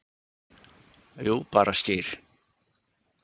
Jú, bara skyr